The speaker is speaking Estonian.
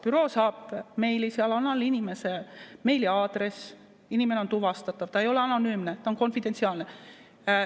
Büroo saab meili, seal all on inimese meiliaadress, inimene on tuvastatav, ta ei ole anonüümne, ta on konfidentsiaalne.